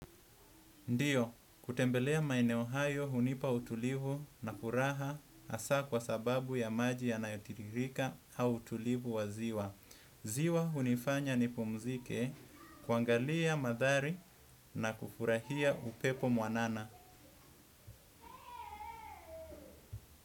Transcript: Ndiyo, kutembelea maeneo hunipa utulivu na furaha asa kwa sababu ya maji ya nayotirika au utulivu wa ziwa. Ziwa hunifanya ni pumzike kuangalia madhari na kufurahia upepo mwanana.